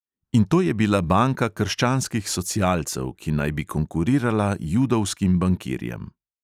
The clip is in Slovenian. In to je bila banka krščanskih socialcev, ki naj bi konkurirala judovskim bankirjem.